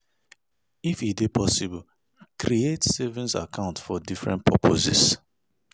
If e dey possible, create savings account for different purposes